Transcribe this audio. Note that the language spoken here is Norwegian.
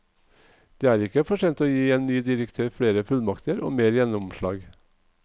Det er ikke for sent å gi en ny direktør flere fullmakter og mer gjennomslag.